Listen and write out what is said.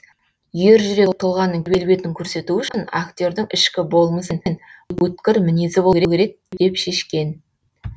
ержүрек тұлғаның келбетін көрсету үшін актердің ішкі болмысы мен өткір мінезі болу керек деп шешкен